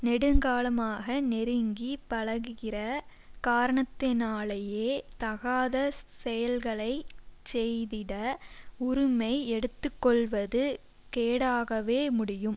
நெடுங்காலமாக நெருங்கி பழகுகிற காரணத்தினாலேயே தகாத செயல்களை செய்திட உரிமை எடுத்துக் கொள்வது கேடாகவே முடியும்